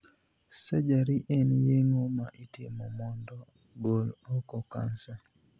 Surgery' en yeng'o ma itimo mondo gol oko kansa.